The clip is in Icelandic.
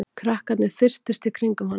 Krakkarnir þyrptust í kringum hana.